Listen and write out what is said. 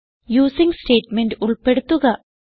using statement ഉൾപ്പെടുത്തുക